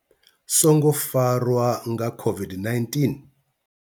songo farwa nga COVID-19.